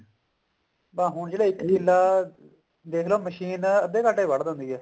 ਬੱਸ ਹੁਣ ਜਿਹੜਾ ਇੱਕ ਕਿੱਲਾ ਦੇਖਲੋ ਮਸ਼ੀਨ ਅੱਧੇ ਘੰਟੇ ਚ ਵੱਢ ਦਿੰਦੀ ਹੈ